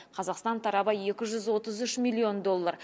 қазақстан тарабы екі жүз отыз үш миллион доллар